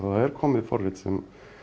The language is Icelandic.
er komið forrit sem